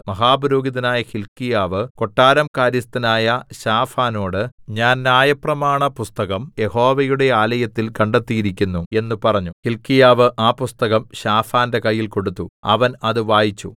മഹാപുരോഹിതനായ ഹില്ക്കീയാവ് കൊട്ടാരം കാര്യസ്ഥനായ ശാഫാനോട് ഞാൻ ന്യായപ്രമാണപുസ്തകം യഹോവയുടെ ആലയത്തിൽ കണ്ടെത്തിയിരിക്കുന്നു എന്ന് പറഞ്ഞു ഹില്ക്കീയാവ് ആ പുസ്തകം ശാഫാന്റെ കയ്യിൽ കൊടുത്തു അവൻ അത് വായിച്ചു